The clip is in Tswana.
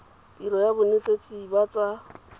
tiro ya bonetshi ba tsa